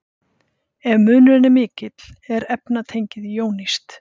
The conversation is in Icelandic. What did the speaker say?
Ef munurinn er mikill er efnatengið jónískt.